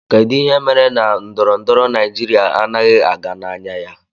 Kedụ ihe mere na ndọrọndọrọ Naijiria anaghị aga n'anya ya?